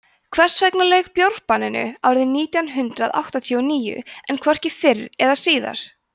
hvers vegna lauk bjórbanninu árið nítján hundrað áttatíu og níu en hvorki fyrr eða síðar